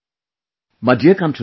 My dear countrymen,